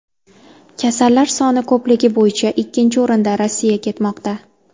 Kasallar soni ko‘pligi bo‘yicha ikkinchi o‘rinda Rossiya ketmoqda.